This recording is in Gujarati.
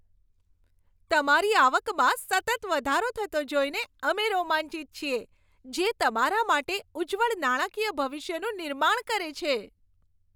તમારી આવકમાં સતત વધારો થતો જોઈને અમે રોમાંચિત છીએ, જે તમારા માટે ઉજ્જવળ નાણાકીય ભવિષ્યનું નિર્માણ કરે છે!